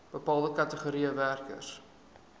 bepaalde kategorieë werkers